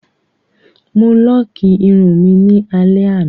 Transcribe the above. Mo lọ́ọ́kì irun mi ní alẹ́ àná.